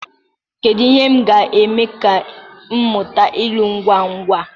Kedu ihe m ga-eme ka m mụta ilu ngwa ngwa?